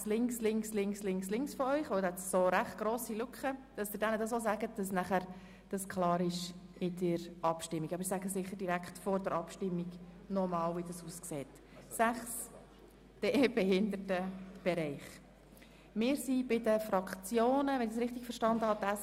Ich wäre froh, wenn Sie dieses Vorgehen Ihren Kolleginnen und Kollegen, die ihren Platz neben Ihnen haben, aber jetzt nicht anwesend sind, mitteilen könnten, denn es gibt beträchtliche Lücken im Saal.